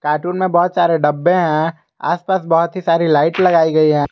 Cartoon में बहुत सारे डब्बे हैं आसपास बहुत ही सारी लाइट लगाई गई है।